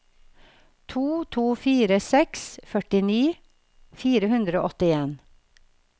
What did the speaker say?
to to fire seks førtini fire hundre og åttien